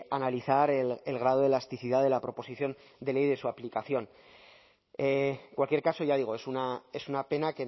analizar el grado de elasticidad de la proposición de ley de su aplicación en cualquier caso ya digo es una pena